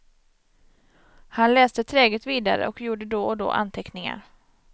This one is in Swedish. Han läste träget vidare och gjorde då och då anteckningar.